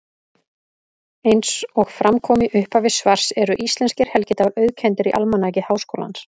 Eins og fram kom í upphafi svars eru íslenskir helgidagar auðkenndir í Almanaki Háskólans.